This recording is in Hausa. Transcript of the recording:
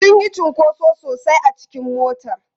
Sun yi cunkoso sosai a cikin motar.